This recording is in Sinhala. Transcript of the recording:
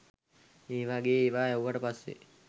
ඒ වගේ ඒවා ඇහුවට පස්සේ